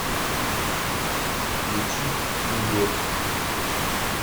включить удо